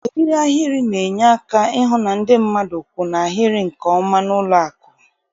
Eriri ahịrị na-enye aka ịhụ na ndị mmadụ kwụ n' ahịrị nke ọma n'ụlọakụ